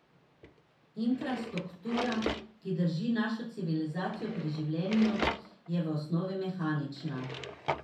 Infrastruktura, ki drži našo civilizacijo pri življenju, je v osnovi mehanična.